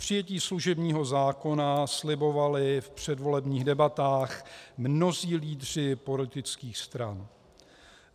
Přijetí služebního zákona slibovali v předvolebních debatách mnozí lídři politických stran.